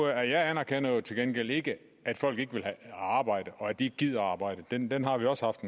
jeg anerkender jo til gengæld ikke at folk ikke vil arbejde at de ikke gider at arbejde den den har vi også haft